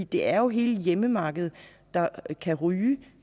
det er jo hele hjemmemarkedet der kan ryge